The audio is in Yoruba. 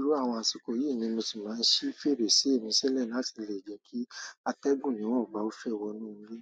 Lóòrùn àwọn àsìkò yìí ni mo sì máa ń ṣí fèrèsé mi sílẹ̀ láti lè jẹ́ kí atẹ́gùn mìíràn ba fẹ́ wọ inú ilé.